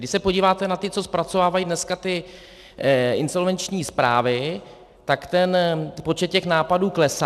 Když se podíváte na ty, co zpracovávají dneska ty insolvenční zprávy, tak ten počet těch nápadů klesá.